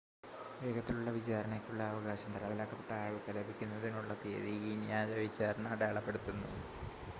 വേഗത്തിലുള്ള വിചാരണയ്ക്കുള്ള അവകാശം തടവിലാക്കപ്പെട്ട ആൾക്ക് ലഭിക്കുന്നതിനുള്ള തീയതി ഈ ന്യായ വിചാരണ അടയാളപ്പെടുത്തുന്നു